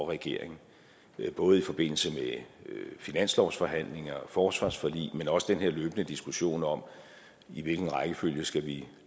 regeringen det er både i forbindelse med finanslovsforhandlinger forsvarsforlig men også i den her løbende diskussion om hvilken rækkefølge vi